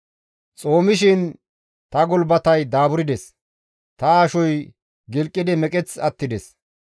Xoomishin ta gulbatey daaburdes; ta ashoy gilqidi meqeth attides.